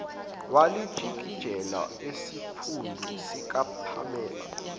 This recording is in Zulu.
walijikijela esiphundu sikapamela